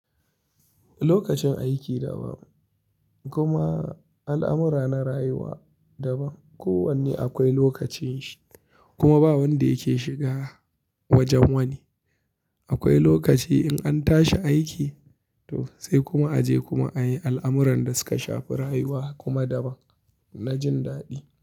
Lokacin aiki daban, kuma al'amura na rayuwa daban. Ko wanne akwai lokacin shi, kuma ba wanda yake shiga wajen wani. Akwai lokaci in an tashi aiki, sai kuma a je kuma a yi al'amuran da suka shafi rayuwa kuma daban na jin daɗi.